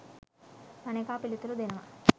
අනෙකා පිළිතුරු දෙනවා..